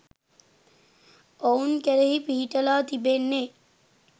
ඔවුන් කෙරෙහි පිහිටලා තිබෙන්නේ